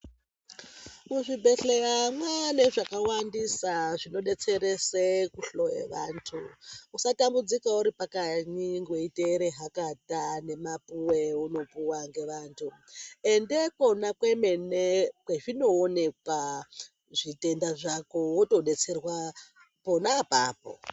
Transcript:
Muzvibhehleya mwaane zvakawandisa zvinodetserese kuhloye vantu. Usatambudzika uripakanyi weiteere hakata nemapuwe eunopiwa ngevantu. Ende ikona kwemene kwezvinoonekwa zvitenda zvako, wotodetserwa pona apapo.